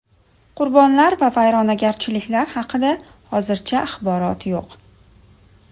Qurbonlar va vayronagarchiliklar haqida hozircha axborot yo‘q.